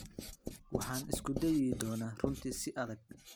Waxaan isku dayi doonaa runtii si adag.